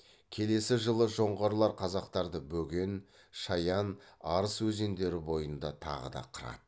келесі жылы жоңғарлар қазақтарды бөген шаян арыс өзендері бойында тағы да қырады